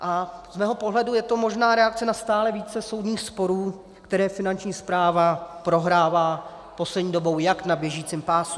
A z mého pohledu je to možná reakce na stále více soudních sporů, které Finanční správa prohrává poslední dobou jak na běžícím pásu.